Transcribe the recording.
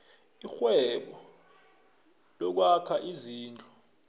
irhwebo lokwakha izindlu